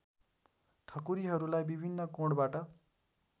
ठकुरीहरूलाई विभिन्न कोणबाट